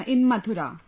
in Mathura